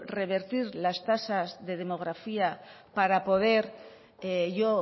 revertir las tasas de demografía para poder yo